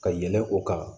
Ka yɛlɛn o kan